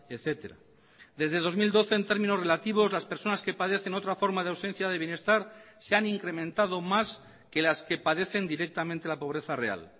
etcétera desde dos mil doce en términos relativos las personas que padecen otra forma de ausencia de bienestar se han incrementado más que las que padecen directamente la pobreza real